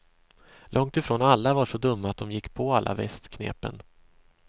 Långt ifrån alla var så dumma att de gick på alla västknepen.